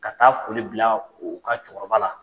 Ka taa foli bila u ka cɛkɔrɔba la.